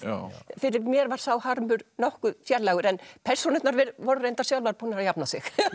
fyrir mér var sá harmur nokkuð fjarlægur en persónurnar voru reyndar sjálfar búnar að jafna sig